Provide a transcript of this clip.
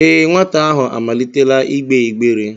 Ee, nwata ahụ amalitela igbe igbere